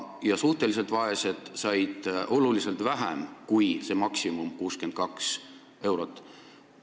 –, ja suhteliselt vaesed said oluliselt vähem kui see maksimum, 62 eurot.